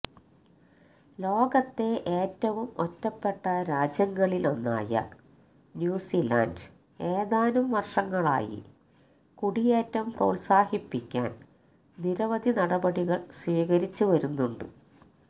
ലോകത്തെ ഏറ്റവും ഒറ്റപ്പെട്ട രാജ്യങ്ങളിലൊന്നായ ന്യൂസിലന്ഡ് ഏതാനും വര്ഷങ്ങളായി കുടിയേറ്റം പ്രോത്സാഹിപ്പിക്കാന് നിരവധി നടപടികള് സ്വീകരിച്ചു വരുന്നുണ്ട്